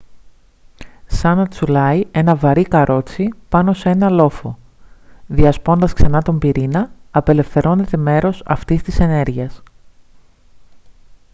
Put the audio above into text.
σαν να τσουλάει ένα βαρύ καρότσι πάνω σε έναν λόφο διασπώντας ξανά τον πυρήνα απελευθερώνεται μέρος αυτής της ενέργειας